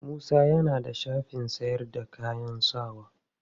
Musa ya na da shafin sayar da kayan sawa.